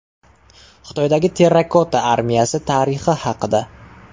Xitoydagi terrakota armiyasi tarixi haqida.